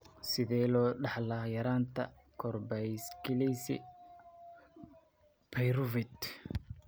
Sidee loo dhaxlaa yaraanta karboksylase pyruvate?